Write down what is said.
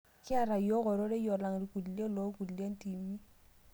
Kiatu yiok ororei alang' irkulie loonkulie tiimi